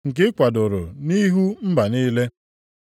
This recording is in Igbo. nke i kwadoro nʼihu mba niile.